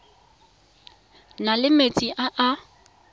na le metsi a a